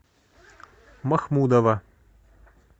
махмудова